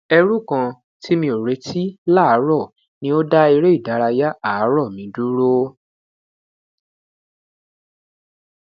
ẹru kan ti mi o reti laaarọ ni o da ereidaraya aarọ mi duro